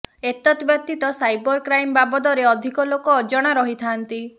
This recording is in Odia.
ଏତତ୍ ବ୍ୟତିତ ସାଇବର କ୍ରାଇମ ବାବଦରେ ଅଧିକ ଲୋକ ଅଜଣା ରହିଥାନ୍ତି